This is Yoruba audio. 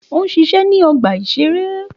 Ó ń ṣiṣẹ́ ní ọgbà-ìṣeré